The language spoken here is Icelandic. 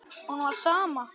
Honum var sama.